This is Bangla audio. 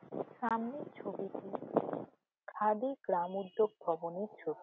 সামনের ছবিতেখাদি গ্রাম উদ্যোগ ভবনের ছবি।